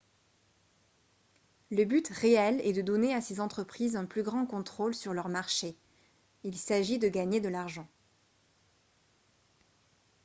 le but réel est de donner à ces entreprises un plus grand contrôle sur leurs marchés ; il s’agit de gagner de l’argent